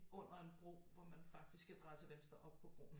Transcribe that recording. Under en bro hvor man faktisk skal dreje til venstre op på broen